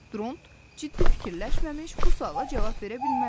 Dront ciddi düşünmədən bu suala cavab verə bilməzdi.